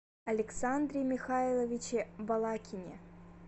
александре михайловиче балакине